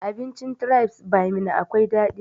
Abincin tribes by meena akwai daɗi